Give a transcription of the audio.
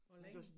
Hvor længe